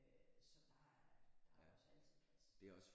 Øh så der er der er også altid plads